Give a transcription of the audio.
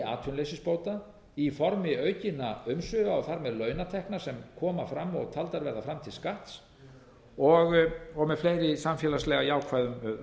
atvinnuleysisbóta í formi aukinna umsvifa og þar með launatekna sem koma fram og taldar verða fram til skatts og með fleiri samfélagslega jákvæðum